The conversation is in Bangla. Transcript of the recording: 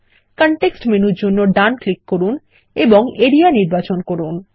কনটেক্সট মেনুর জন্য ডান ক্লিক করুন এবং এরিয়া নির্বাচন করুন